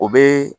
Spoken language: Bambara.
O bɛ